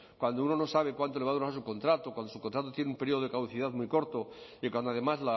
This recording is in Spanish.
cuando uno no sabe cuánto le va a durar su contrato cuando su contrato tiene un periodo de caducidad muy corto y cuando además